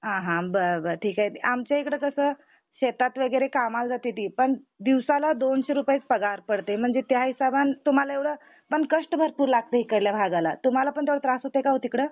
हा हा बरं बरं ठीक आहे. आमच्या इकडे कस शेतात वगैरे कामाला जाते मी पण दिवसाला दोनशे रुपयेच पगार पडते. त्या हिशोबाने तुम्हाला एव्हडं पण कष्ट भरपूर लागते इकडल्या भागाला तुम्हाला पण तेव्हडात्रास होतो का वो तिकडं?